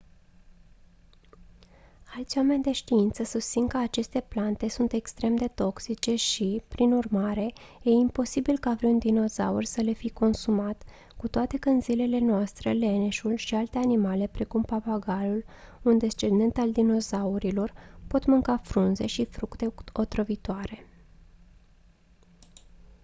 alți oameni de știință susțin că aceste plante sunt extrem de toxice și prin urmare e improbabil ca vreun dinozaur să le fi consumat cu toate că în zilele noastre leneșul și alte animale precum papagalul un descendent al dinozaurilor pot mânca frunze și fructe otrăvitoare